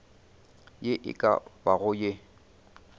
ye e ka bago ye